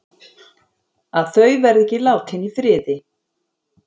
Að þau verði ekki látin í friði.